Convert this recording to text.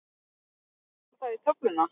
Fór það í töfluna?